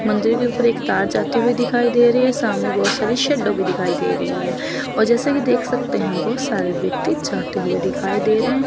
मंदिर के ऊपर एक तार जाते हुए दिखाई दे रही है। सामने बहुत सारी शैडो भी दिखाई दे रही है और जैसे कि देख सकते हैं बहुत सारे व्यक्ति जाते हुए दिखाई दे रहे हैं।